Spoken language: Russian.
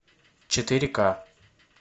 четыре ка